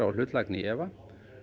og hlutlægni í efa